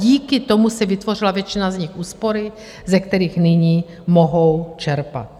Díky tomu si vytvořila většina z nich úspory, ze kterých nyní mohou čerpat.